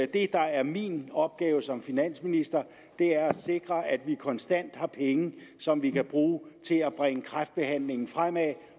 det der er min opgave som finansminister er at sikre at vi konstant har penge som vi kan bruge til at bringe kræftbehandlingen fremad